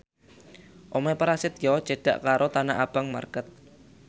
omahe Prasetyo cedhak karo Tanah Abang market